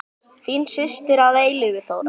Þín systir að eilífu, Þóra.